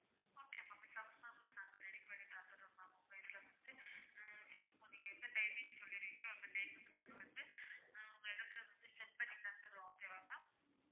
okay ma'am shawarma கூட நாங்க ready பண்ணி தந்துடுறோம் ma'am இப்போ இதுல வந்து உம் நீங்க எந்த timing சொல்லுறீங்களோ அந்த timing க்கு நாங்க வந்து உம் உங்க இடத்துல வந்து set பண்ணி தந்துடுறோம் okay வா ma'am